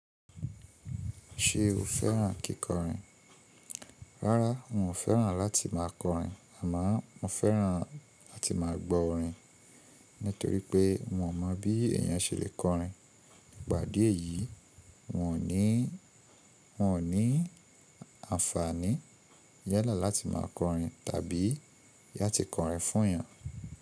Ṣé o fẹ́ràn kíkọrin? Rárá, n ò fẹ́ràn láti máa kọrin, àmọ́ mo fẹ́ràn láti máa gbọ́ orin nítorí pé n o mọ̀ bí èèyàn ṣe lè kọrin. Pàdé èyí, n ò ní àǹfààní yálà láti máa kọrin tàbí la ti kọrin fún èèyàn.